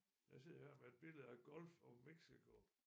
Jeg sidder her med et billede af Gulf of Mexico